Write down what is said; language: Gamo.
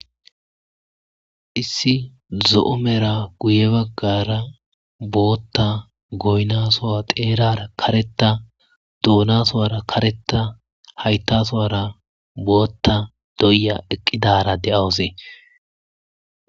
Issi zo'o Meera guuye baggara booththa gonna sohon xerara kareththa Dona sohowara kareththa haththa sohowara booththa do:iya iqqidara do'awissi.